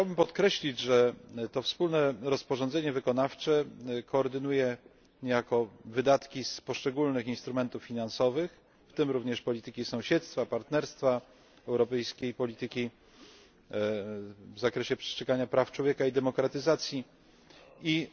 Chciałbym podkreślić, że to wspólne rozporządzenie wykonawcze koordynuje niejako wydatki z poszczególnych instrumentów finansowych, w tym również polityki sąsiedztwa, partnerstwa, europejskiej polityki w zakresie przestrzegania praw człowieka i demokratyzacji i